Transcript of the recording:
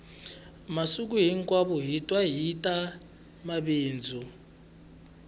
masiku hinkwawo hi twa hita mabindzu